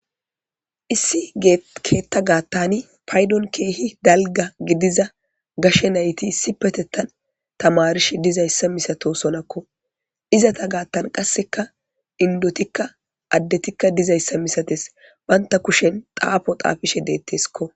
issi keetta gaattani paydon keehi dalga gidiza gashe nayti issi petettan tamarish dizayssa misato sonakko izata gaattan qasseka indotikka addetikka dizayssa misates banta kushen xaafo xaafishe deetteskko